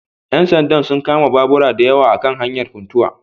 Ƴan sanda sun kama babura dayawa a kan hanyar Funtuwa